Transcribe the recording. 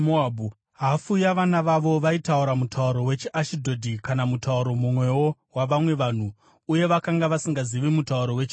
Hafu yavana vavo vaitaura mutauro wechiAshidhodhi kana mutauro mumwewo wavamwe vanhu, uye vakanga vasingazivi mutauro wechiJudha.